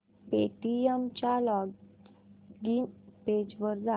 Paytm च्या login page वर जा